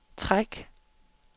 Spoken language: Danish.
træk